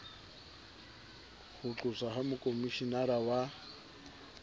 ho qoswa ha mokhomishenara wa